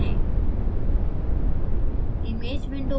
यह यहाँ है!